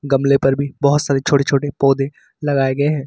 गमले पर भी बहुत सारी छोटी छोटी पौधे लगाए गए हैं।